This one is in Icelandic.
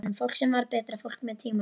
Fólk sem varð betra fólk með tímanum.